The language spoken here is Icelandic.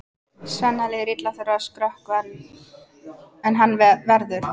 Svenna líður illa að þurfa að skrökva en hann verður!